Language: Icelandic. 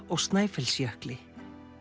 og Snæfellsjökli